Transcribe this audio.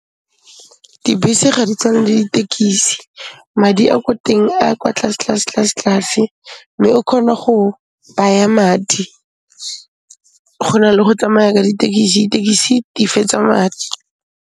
Dibese ga di tshwane le ditekisi madi a ko teng a kwa tlase, tlase, tlase, tlase, mme o khona go baya madi go na le go tsamaya ka ditekisi, tekisi di fetsa madi.